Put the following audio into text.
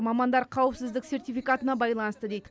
мамандар қауіпсіздік сертификатына байланысты дейді